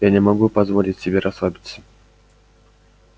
я не могу позволить себе расслабиться